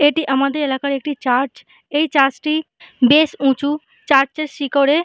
এটি আমাদের এলাকার একটি চার্চ । এই চার্চটি বেশ উঁচু চার্চটির শিখরে--